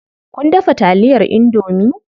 Kun dafa taliyar indomie?